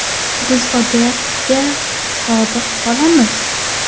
Biz bu odatga sodiq qolamiz.